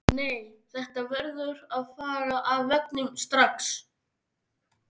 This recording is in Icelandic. Nei, þetta verður að fara af veggnum strax!